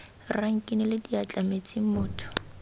rra nkinele diatla metsing motho